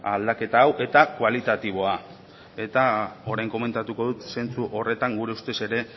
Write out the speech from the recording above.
aldaketa hau eta kualitatiboa eta orain komentatuko dut zentzu horretan gure ustez ere